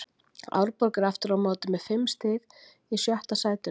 Árborg er aftur á móti með fimm stig í sjötta sætinu.